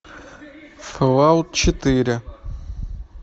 фоллаут четыре